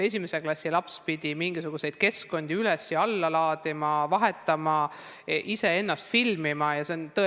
Esimese klassi laps pidi mingisuguseid keskkondi üles ja alla laadima, vahetama, iseennast filmima jne.